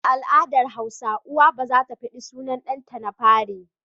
A al'adar hausawa uwa ba zata faɗi sunan ɗan ta na fari